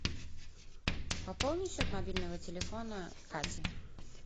пополни счет мобильного телефона кати